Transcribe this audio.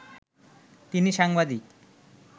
তিনি সাংবাদিক